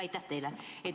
Aitäh teile!